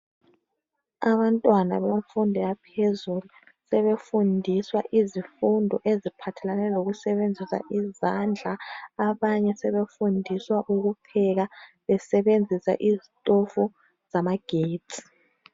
Abantwana bemfundo yaphezulu sebefundiswa izifundo eziphathelane lokusebenzisa izandla. Abanye sebefundiswa ukupheka besebenzisa izitofu zamagetsi.